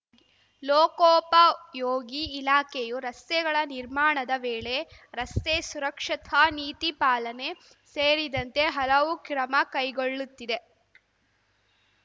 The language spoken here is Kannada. ಲೋಕೋಪಯೋಗಿ ಇಲಾಖೆಯು ರಸ್ತೆಗಳ ನಿರ್ಮಾಣದ ವೇಳೆ ರಸ್ತೆ ಸುರಕ್ಷತಾ ನೀತಿ ಪಾಲನೆ ಸೇರಿದಂತೆ ಹಲವು ಕ್ರಮ ಕೈಗೊಳ್ಳುತ್ತಿದೆ